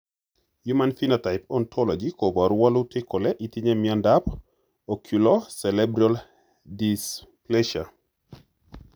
Human Phenotype Ontology koporu wolutik kole itinye Miondap Oculo cerebral dysplasia?